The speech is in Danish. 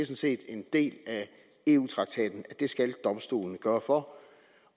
set en del af eu traktaten at det skal domstolen sørge for